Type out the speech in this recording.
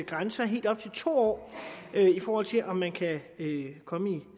grænse og helt op til to år i forhold til om man kan komme i